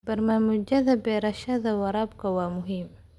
Barnaamijyada beerashada waraabka waa muhiim.